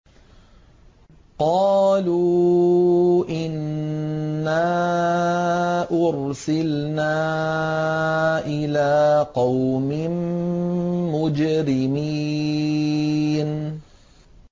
قَالُوا إِنَّا أُرْسِلْنَا إِلَىٰ قَوْمٍ مُّجْرِمِينَ